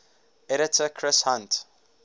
editor chris hunt